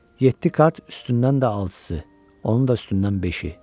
Yeddi kart üstündən də altısı, onun da üstündən beşi.